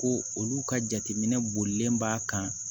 Ko olu ka jateminɛ bolilen b'a kan